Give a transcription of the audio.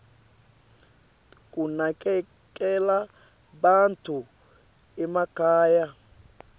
kunakekela bantfu emakhaya